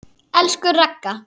Elsku Ragga.